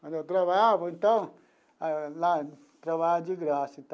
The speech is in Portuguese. Quando eu trabalhava então lá eu trabalhava de graça.